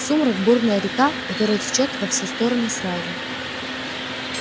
сумрак бурная река которая течёт во все стороны сразу